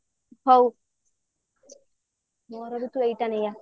ହଉ